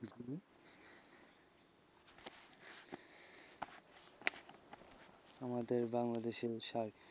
আমাদের বাংলাদেশী ঔষধ,